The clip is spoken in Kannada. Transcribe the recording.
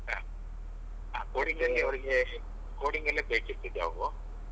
ಹ ಹ coding ಅಲ್ಲಿ ಅವ್ರಿಗೇ coding ಅವ್ರಿಗೆ coding ಅಲ್ಲೇ ಬೇಕಿತ್ತು job.